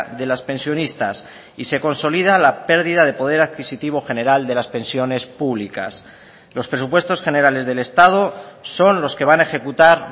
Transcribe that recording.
de las pensionistas y se consolida la pérdida de poder adquisitivo general de las pensiones públicas los presupuestos generales del estado son los que van a ejecutar